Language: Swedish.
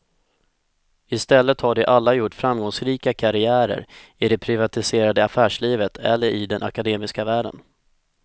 I stället har de alla gjort framgångsrika karriärer i det privatiserade affärslivet eller i den akademiska världen.